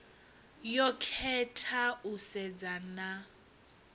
yo khetha u sedzana na